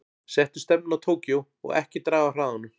Settu stefnuna á Tókýó og ekki draga af hraðanum.